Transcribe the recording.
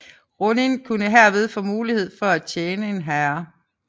Ronin kunne herved få mulighed for at tjene en herre